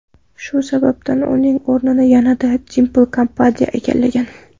Shu sababdan uning o‘rnini yana Dimpl Kapadiya egallagan.